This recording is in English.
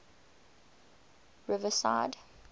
riverside